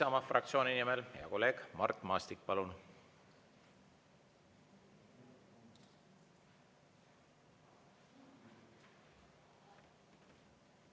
Isamaa fraktsiooni nimel hea kolleeg Mart Maastik, palun!